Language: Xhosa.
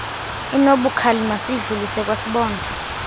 inobukhali masiyidlulisele kwasibonda